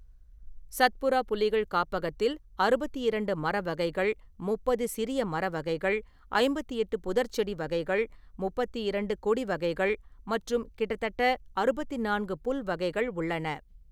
சத்புரா புலிகள் காப்பகத்தில் அறுபத்தி இரண்டு மர வகைகள், முப்பது சிறிய மர வகைகள், ஐம்பத்தி எட்டு புதர்ச்செடி வகைகள், முப்பத்தி இரண்டு கொடி வகைகள் மற்றும் கிட்டத்தட்ட அறுபத்தி நான்கு புல் வகைகள் உள்ளன.